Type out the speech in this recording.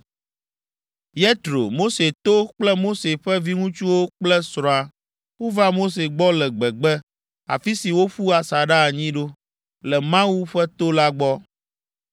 Yetro, Mose to kple Mose ƒe viŋutsuwo kple srɔ̃a wova Mose gbɔ le gbegbe, afi si woƒu asaɖa anyi ɖo, le Mawu ƒe to la gbɔ.